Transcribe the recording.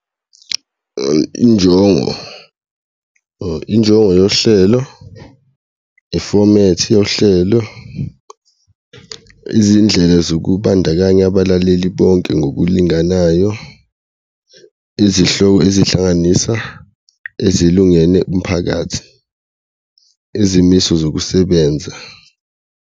Injongo injongo yohlelo, ifomethi yohlelo, izindlela zokubandakanya abalaleli bonke ngokulinganayo, izihloko ezihlanganisa ezilungele umphakathi, izimiso zokusebenza.